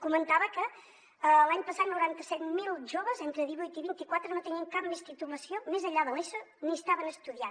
comentava que l’any passat noranta set mil joves entre divuit i vint i quatre no tenien cap més titulació més enllà de l’eso ni estaven estudiant